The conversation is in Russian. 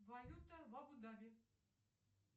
валюта в абу даби